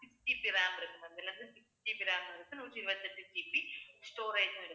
sixGBram இருக்கு ma'am இதுல 6GB RAM ஆஹ் நூற்றி இருபத்தி எட்டு GB storage ம் இருக்கு